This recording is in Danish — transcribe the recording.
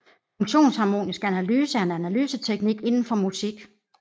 Funktionsharmonisk analyse er en analyseteknik inden for musik